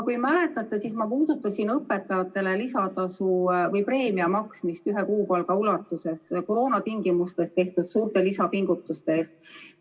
Võib-olla mäletate, et puudutasin õpetajatele preemia maksmist ühe kuupalga ulatuses koroonatingimustes tehtud suurte lisapingutuste eest.